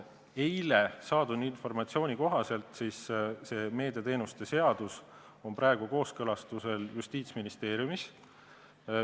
Eile saadud informatsiooni kohaselt on meediateenuste seadus praegu kooskõlastusel Justiitsministeeriumis.